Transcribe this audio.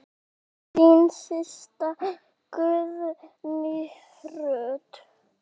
Þín systa, Guðný Ruth.